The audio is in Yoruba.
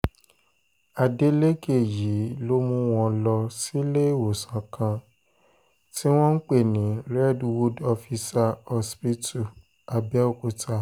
adeleke yìí ló mú wọn lọ síléèwọ̀sán kan tí wọ́n ń pè ní redwood officer hospital abeokuta